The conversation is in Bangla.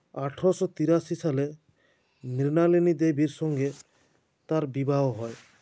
আঠারশো তিরাশি সালে মৃণালিনী দেবীর সঙ্গে তাঁর বিবাহ হয়